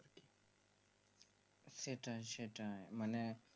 সেটাই সেটাই মানে